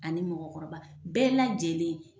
Ani mɔgɔkɔrɔba bɛɛ lajɛlen